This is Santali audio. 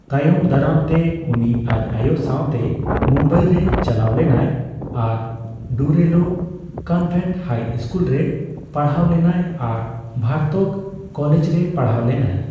ᱛᱟᱭᱚᱢ ᱫᱟᱨᱟᱢ ᱛᱮ ᱩᱱᱤ ᱟᱡ ᱟᱭᱳ ᱥᱟᱣ ᱛᱮ ᱢᱩᱢᱵᱟᱭ ᱨᱮ ᱪᱟᱞᱟᱣ ᱞᱮᱱᱟᱭ ᱟᱨ ᱰᱩᱨᱮᱞᱳ ᱠᱚᱱᱵᱷᱮᱱᱴ ᱦᱟᱭ ᱤᱥᱠᱩᱞ ᱨᱮ ᱯᱟᱲᱦᱟᱣ ᱞᱮᱱᱟᱭ ᱟᱨ ᱵᱷᱟᱨᱛᱚᱠ ᱠᱚᱞᱮᱡ ᱨᱮ ᱯᱟᱲᱦᱟᱣ ᱞᱮᱱᱟᱭ ᱾